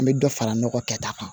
An bɛ dɔ fara nɔgɔ kɛ ta kan